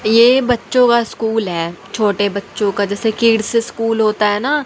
ये बच्चों का स्कूल है छोटे बच्चों का जैसे किड्स स्कूल होता है ना--